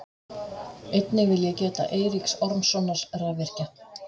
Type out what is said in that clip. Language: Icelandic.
Einnig vil ég geta Eiríks Ormssonar rafvirkja.